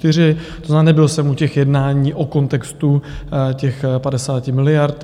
To znamená, nebyl jsem u těch jednání o kontextu těch 50 miliard.